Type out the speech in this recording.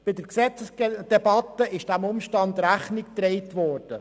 Bei der Gesetzesdebatte wurde diesem Umstand Rechnung getragen.